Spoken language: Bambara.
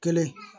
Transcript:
Kelen